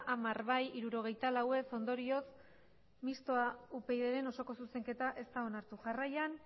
hamar bai hirurogeita lau ez ondorioz mistoa upydren osoko zuzenketa ez da onartu jarraian